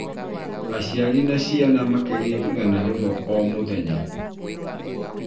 Aciari na ciana makarĩa igana rĩmwe o mũthenya